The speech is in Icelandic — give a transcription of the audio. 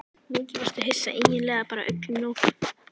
Mikið varstu hissa, eiginlega bara öllum lokið.